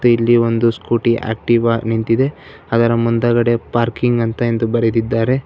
ಇಲ್ಲಿ ಒಂದು scooty Activa ನಿಂತಿದೆ ಅದರ ಮುಂದಗಡೆ ಪಾರ್ಕಿಂಗ್ ಅಂತ ಎಂದು ಬರೆದಿದ್ದಾರೆ.